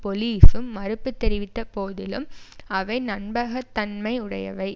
பொலிஸும் மறுப்பு தெரிவித்த போதிலும் அவை நன்ம்பகத்தன்மை உடையவை